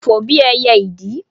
fò bí ẹyẹ ìdì